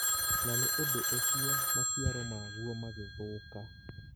na nĩ ũndũ ũcio maciaro maguo magĩthũka.